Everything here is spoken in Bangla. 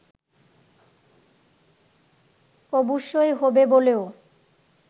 অবশ্যই হবে বলেও